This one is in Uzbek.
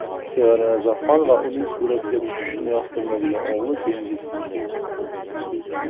Sevara Nazarxon va uning suratga tushishni yoqtirmaydigan o‘g‘li Dengiz.